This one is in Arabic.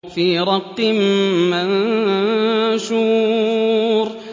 فِي رَقٍّ مَّنشُورٍ